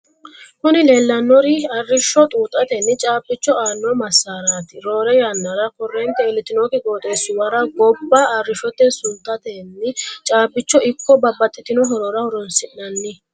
kuni leellannori aarishsho xuuxatenni caabicho aanno masaraati. roore yannara korrente iilitinokki qooxeesuwara gobba arrishote sutatenni caabichoho ikko babbaxitino horoora horoonsi'nanni.